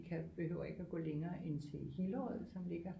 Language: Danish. Vi kan vi behøver ikke at gå længere end til Hillerød som ligger